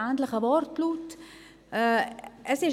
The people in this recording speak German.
Der Wortlaut war ähnlich.